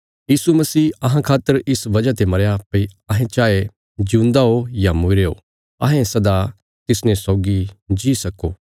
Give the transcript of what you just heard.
यीशु मसीह अहां खातर इस वजह ते मरया भई अहें चाये जिऊंदा ओ या मूईरे ओ अहें सदा तिसने सौगी जी सको